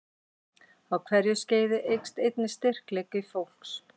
Á hverju skeiði eykst einnig styrkleiki fólks.